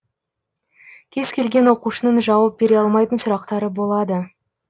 кез келген оқушының жауап бере алмайтын сұрақтары болады